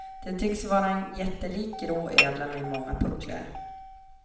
Det tycks vara en jättelik grå ödla med många pucklar.